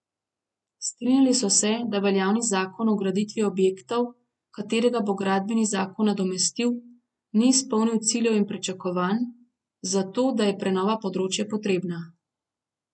Strinjali so se, da veljavni zakon o graditvi objektov, katerega bo gradbeni zakon nadomestil, ni izpolnil ciljev in pričakovanj, zato da je prenova področja potrebna.